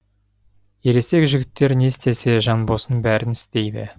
ересек жігіттер не істесе жанбосын бәрін істейді